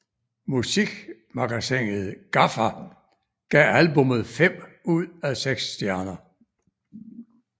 Musikmagasinet GAFFA gav albummet fem ud af seks stjerner